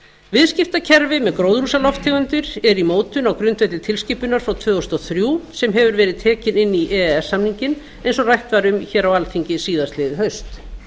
viðskiptakerfi með gróðurhúsalofttegundir er í mótun á grundvelli tilskipunar frá tvö þúsund og þrjú sem hefur verið tekið inn í e e s samninginn eins og rætt var um á alþingi síðastliðið haust